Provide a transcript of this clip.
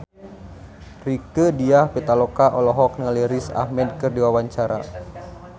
Rieke Diah Pitaloka olohok ningali Riz Ahmed keur diwawancara